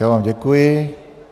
Já vám děkuji.